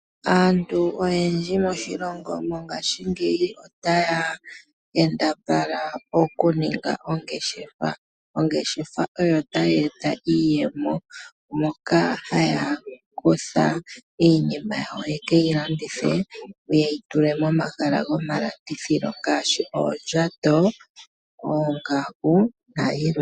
Aantu oyendji moshilongo mongashingeyi otaya kambadhala okuninga oongeshefa, ongeshefa oyo tayi e ta iiyemo moka haya kutha iinima yawo yekeyilandithe, ano okuyitula momahala gomalandithilo yimwe yomuyo ngaashi oondjato, oongaku nayilwe.